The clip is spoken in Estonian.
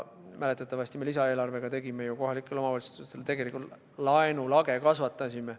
Mäletatavasti me lisaeelarvega kohalikele omavalitsustele tegelikult laenulage kasvatasime.